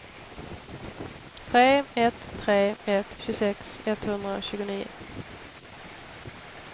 tre ett tre ett tjugosex etthundratjugonio